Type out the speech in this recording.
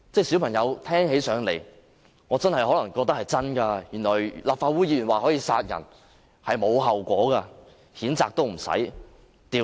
小朋友聽起來，可能覺得立法會議員說可以殺人是沒有後果的，他不會遭譴責，也不用調查。